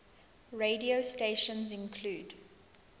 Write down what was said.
radio stations include